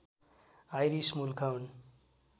iris मूलका हुन्